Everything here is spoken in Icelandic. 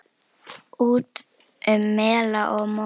Út um mela og móa!